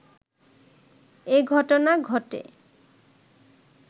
এঘটনা ঘটে